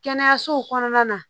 Kɛnɛyasow kɔnɔna na